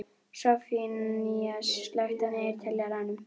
Soffanías, slökktu á niðurteljaranum.